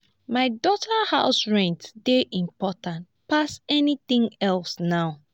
my daughter house rent dey important pass anything else now